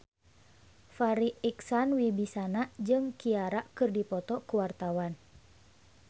Farri Icksan Wibisana jeung Ciara keur dipoto ku wartawan